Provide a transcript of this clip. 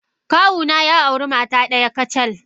Kawuna ya auri mata daya kacal.